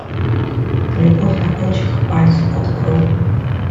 любовь на кончиках пальцев открой